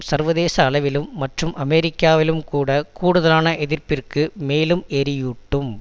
சர்வதேச அளவிலும் மற்றும் அமெரிக்காவிலும் கூட கூடுதலான எதிர்ப்பிற்கு மேலும் எரியூட்டும்